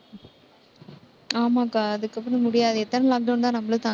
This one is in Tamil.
ஆமாக்கா அதுக்கப்புறம் முடியாது. எத்தன lockdown தான் நம்மளும் தாங்~